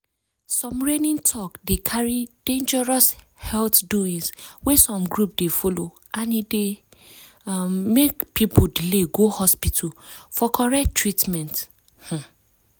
some reigning talk dey carry dangerous health doings wey some group dey follow and e dey um make people delay go hospital for correct treatment um